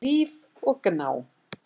Líf og Gná.